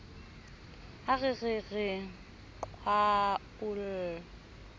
ha re re re qhwaolla